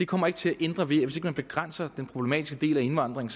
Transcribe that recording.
kommer til at ændre ved at man begrænser den problematiske del af indvandringen